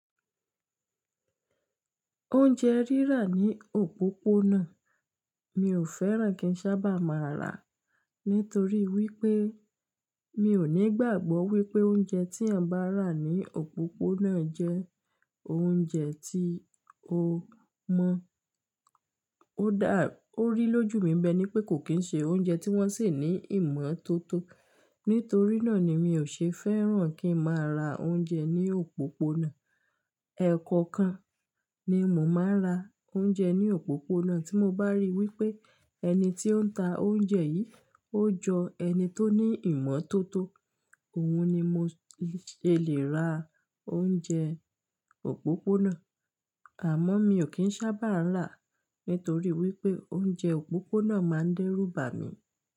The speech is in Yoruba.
Oúnjẹ rírà ní òpópónà mi ò fẹ́ràn kí ń sábà máa rà á nítorí wípé mi ò ní gbàgbọ́ wípé oúnjẹ tí eyan bá rà ní òpópónà jẹ oúnjẹ tí ó mọ́. Ó dá, ó rí lójú mi bẹ́ẹ́ ní pé kò kín ń ṣe oúnjẹ tí wón se ní ìmọ́tótó. Nítorí náà ni mi ò ṣe fẹ́ràn kí ń máa ra oúnjẹ ní òpópónà. Ẹ̀ẹ̀kọ̀kan ni mo máa ra oúnjẹ ní òpópónà tí mo bá rí wípé ẹni tí ó ń ta oúnjẹ yìí ó jọ ẹni tó ní ìmọ́tótó, òun ni mo ṣè lè ra oúnjẹ òpópónà. Àmọ́ mi ò kín sábà rà á nítorí wípé oúnjẹ òpópónà máa ń dẹ́rùbà mi.